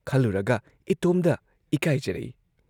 ꯈꯜꯂꯨꯔꯒ ꯏꯇꯣꯝꯗ ꯏꯀꯥꯏꯖꯔꯛꯏ ꯫